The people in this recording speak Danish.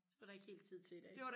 det var der ikke helt tid til i dag ej